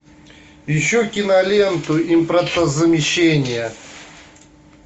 ищу киноленту импортозамещение